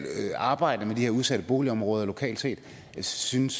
arbejde med de her udsatte boligområder lokalt set synes